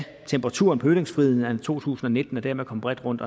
temperaturen på ytringsfriheden anno to tusind og nitten og dermed komme bredt rundt